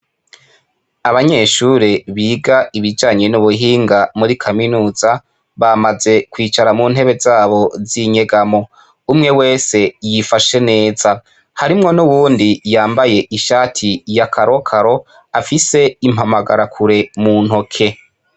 Abanyeshure biga ibijanye n'ubuhinga muri kaminuza bamaze kwicara mu ntebe zabo z'inyegamo umwe wese yifashe neza harimwo n’uwundi yambaye ishati ya karokaro afise impamagarakure mu ntoke.